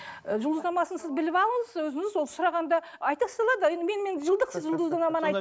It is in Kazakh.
ы жұлдызнамасын сіз біліп алыңыз өзіңіз ол сұрағанда айта салады енді мен мен жылдықсыз жұлдызнаманы